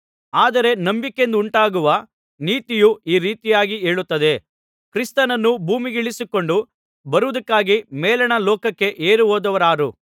ಆದರೆ ನಂಬಿಕೆಯಿಂದುಂಟಾಗುವ ನೀತಿಯು ಈ ರೀತಿಯಾಗಿ ಹೇಳುತ್ತದೆ ಕ್ರಿಸ್ತನನ್ನು ಭೂಮಿಗಿಳಿಸಿಕೊಂಡು ಬರುವುದಕ್ಕಾಗಿ ಮೇಲಣ ಲೋಕಕ್ಕೆ ಏರಿಹೋದವರಾರು